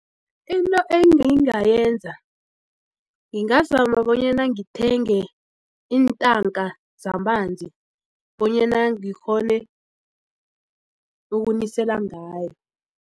Into engingayenza ngingazama bonyana ngithenge iintanka zamanzi bonyana ngikghone ukunisela ngayo.